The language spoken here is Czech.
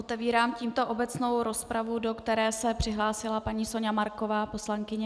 Otevírám tímto obecnou rozpravu, do které se přihlásila paní Soňa Marková, poslankyně.